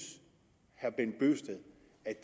at